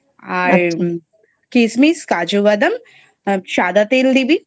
কিসমিস কাজুবাদাম সাদা তেল দিবি